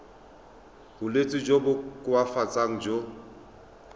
bolwetsi jo bo koafatsang jo